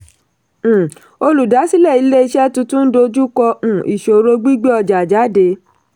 um olùdásílẹ̀ ilé iṣẹ́ tuntun ń dojú kọ um ìṣòro gbígbé ọjà jáde.